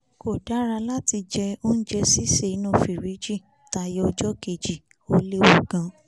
kò dára láti jẹ oúnjẹ sísè inú fìríìjì tayọ ọjọ́ kejì ó léwu gidi